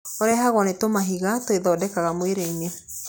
Ũrehagwo nĩ tũmahiga twĩthondekaga mwĩrĩ-inĩ.